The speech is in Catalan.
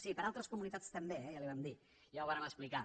sí per a altres comunitats també eh ja li ho vam dir ja ho vàrem explicar